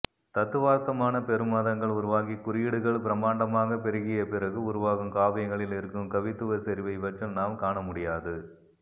தத்துவார்த்தமான பெருமதங்கள் உருவாகிக் குறியீடுகள் பிரம்மாண்டமாகப் பெருகியபிறகு உருவாகும் காவியங்களில் இருக்கும் கவித்துவச் செறிவை இவற்றில் நாம் காணமுடியாது